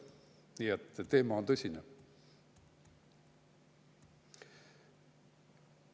Nii et teema on tõsine.